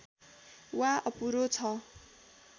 वा अपुरो छ